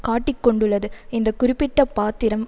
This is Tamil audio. காட்டிக்கொண்டுள்ளது இந்த குறிப்பிட்ட பாத்திரம்